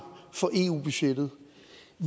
for eu budgettet